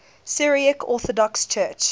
syriac orthodox church